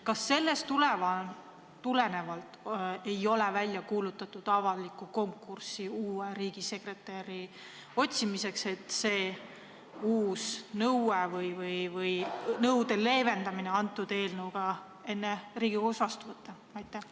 Kas avalikku konkurssi uue riigisekretäri otsimiseks ei ole välja kuulutatud sellest tulenevalt, et see uus nõue või nõude leevendamine tuleks koos eelnõuga enne Riigikogus vastu võtta?